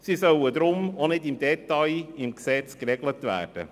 Sie sollen darum auch nicht im Detail im Gesetz geregelt werden.